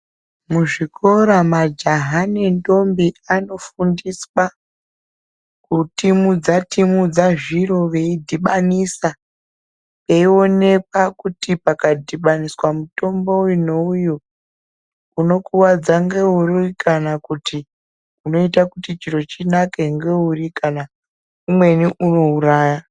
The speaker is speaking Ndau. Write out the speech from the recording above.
Muzvikora majaha nendombi anofundiswa kutimudza timudza zviro veidhibanisa eioneka kuti pakadhibaniswa mutombo uyu neuyu unokuwadza ngeuri, kana kuti unoita kuti chiro chinake ngeuri kana umweni unouraya.